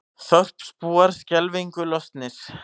Þorpsbúar skelfingu lostnir